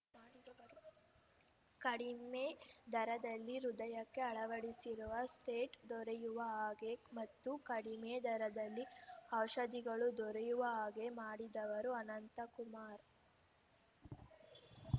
ಕಡಿಮೆ ದರದಲ್ಲಿ ಹೃದಯಕ್ಕೆ ಅಳವಡಿಸುವ ಸ್ಟೇಟ್ ದೊರೆಯುವ ಹಾಗೆ ಮತ್ತು ಕಡಿಮೆ ದರದಲ್ಲಿ ಔಷಧಗಳು ದೊರೆಯುವ ಹಾಗೆ ಮಾಡಿದವರು ಅನಂತಕುಮಾರ್‌